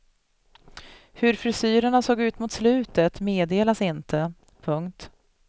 Hur frisyrerna såg ut mot slutet meddelas inte. punkt